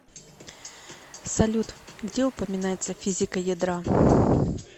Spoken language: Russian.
салют где упоминается физика ядра